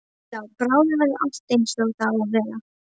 Já, bráðum verður allt einsog það á að vera.